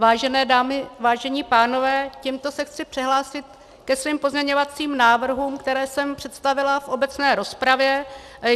Vážené dámy, vážení pánové, tímto se chci přihlásit ke svým pozměňovacím návrhům, které jsem představila v obecné rozpravě.